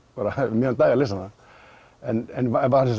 um miðjan dag að lesa hana en